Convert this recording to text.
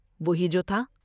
وہی جو تھا ۔